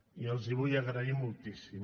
i els ho vull agrair moltíssim